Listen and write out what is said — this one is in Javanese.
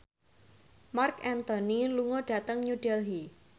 Marc Anthony lunga dhateng New Delhi